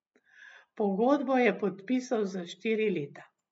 Pogodbo je podpisal za štiri leta.